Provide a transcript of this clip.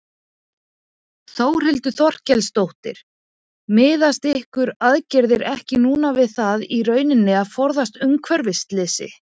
Þórhildur Þorkelsdóttir: Miðast ykkar aðgerðir ekki núna við það í rauninni að forða umhverfisslysi?